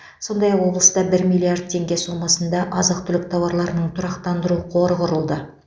сондай ақ облыста бір миллиард теңге сомасына азық түлік тауарларының тұрақтандыру қоры құрылды